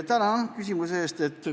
Tänan küsimuse eest!